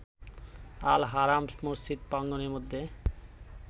Al-Haram মসজিদ প্রাঙ্গণের মধ্যে